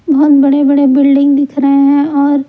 बहुत बड़े-बड़े बिल्डिंग दिख रहे हैं और--